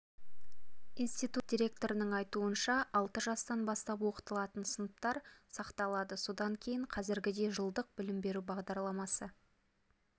институт директорының айтуынша алты жастан бастап оқытылатын сыныптар сақталады содан кейін қазіргідей жылдық білім беру бағдарламасы